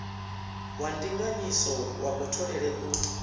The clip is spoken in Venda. wa ndinganyiso ya kutholele u